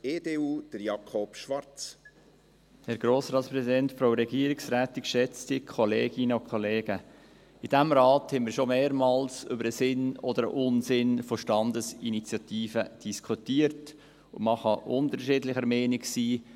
In diesem Rat haben wir schon mehrmals über Sinn oder Unsinn von Standesinitiativen diskutiert, und man kann unterschiedlicher Meinung sein.